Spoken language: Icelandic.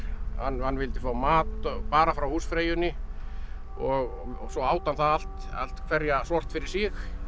hann vildi fá mat bara frá húsfreyjunni og svo át hann það allt allt hverja sort fyrir sig